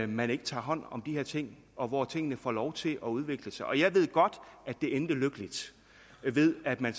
man ikke tager hånd om de her ting og hvor tingene får lov til at udvikle sig og jeg ved godt at det endte lykkeligt ved at man